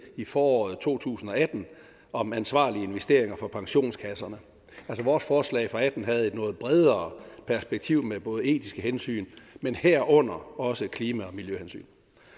i foråret to tusind og atten om ansvarlige investeringer for pensionskasserne vores forslag og atten havde et noget bredere perspektiv med både etiske hensyn men herunder også klima og miljøhensyn